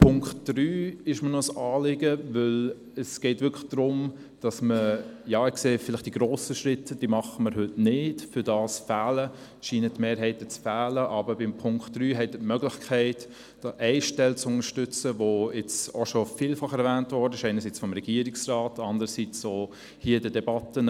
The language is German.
Der Punkt 3 ist mir ein Anliegen, da es darum geht – die grossen Schritte passieren heute nicht, dafür scheinen die Mehrheiten zu fehlen – eine Stelle zu unterstützen, die bereits vielfach erwähnt wurde, einerseits durch den Regierungsrat und andererseits auch hier in den Debatten.